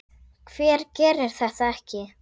Hver gerir þetta ekki?